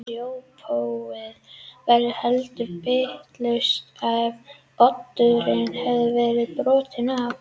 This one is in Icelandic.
Spjótið verður heldur bitlaust ef oddurinn hefur verið brotinn af.